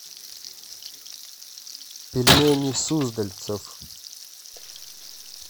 пельмени суздальцев